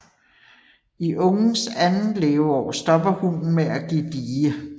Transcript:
I ungens andet leveår stopper hunnen med at give die